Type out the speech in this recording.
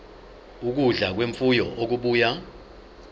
ukudla kwemfuyo okubuya